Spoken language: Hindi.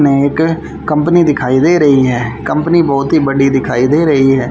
मैं एक कंपनी दिखाई दे रही हैं कंपनी बहोत ही बड़ी दिखाई दे रही हैं।